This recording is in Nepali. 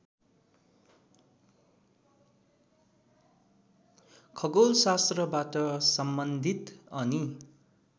खगोलशास्त्रबाट सम्बन्धित अनि